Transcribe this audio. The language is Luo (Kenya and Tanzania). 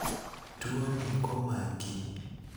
tuoni komaki